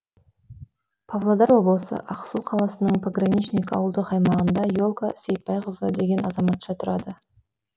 павлодар облысы ақсу қаласының пограничник ауылдық аймағында е лка сейтбайқызы деген азаматша тұрады